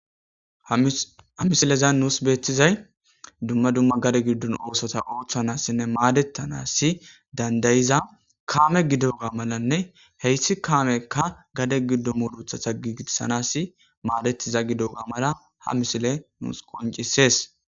Hha misilezan nuus beettizay dumma dumma gade giddun oosota ooththanassinne maadetanassi dandayiza kaame gidoga malanne heyssi kaameka gade giddu mudutha ta gigissanass maadetiza gidoga mala ha misile nuus qoncisees.